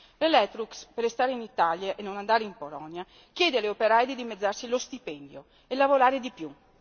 L'Electrolux, per restare in Italia e non andare in Polonia, chiede agli operai di dimezzarsi lo stipendio e lavorare di più.